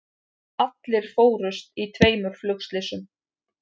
Allir fórust í tveimur flugslysum